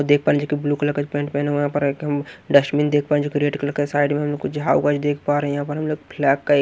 देख पा रहे हैं जो कि ब्लू कलर का पेंट पहना हुआ यहां पर हम डस्टमिन देख पा रहे हैं जो कि रेड कलर का साइड में हम लोग को झाव का जो देख पा रहे हैं यहां पर हम लोग फ्लैग काए --